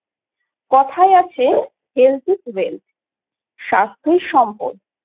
কথায় আছে Health is Wealth , স্বাস্থ্যই সম্পদ।